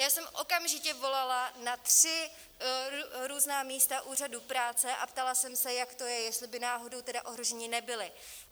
Já jsem okamžitě volala na tři různá místa úřadů práce a ptala jsem se, jak to je, jestli by náhodou tedy ohroženi nebyli.